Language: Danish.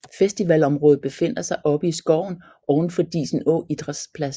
Festivalområdet befinder sig oppe i skoven overfor Disenå Idrætsplads